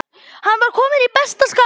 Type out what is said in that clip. Hann var kominn í besta skap.